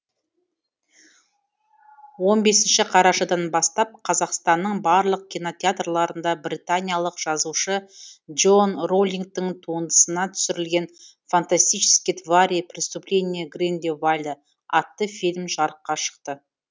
он бесінші қарашадан бастап қазақстанның барлық кинотеатрларында британиялық жазушы джоан роулингтің туындысына түсірілген фантастические твари преступления грин де вальда атты фильм жарыққа шықты